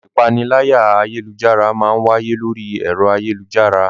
Ìpaniláyà ayélujára máa ń wáyé lórí ẹ̀rọ ayélujára